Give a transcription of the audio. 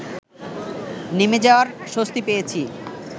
নেমে যাওয়ার স্বস্তি পেয়েছি